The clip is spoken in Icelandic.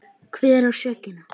Hver á sökina?